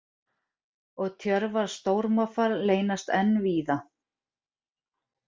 Og Tjörvar stórmoffar leynast enn víða.